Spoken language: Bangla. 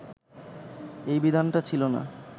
এই বিধানটা ছিলো না